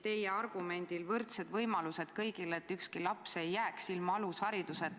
Teie eesmärk on "võrdsed võimalused kõigile, et ükski laps ei jääks ilma alushariduseta".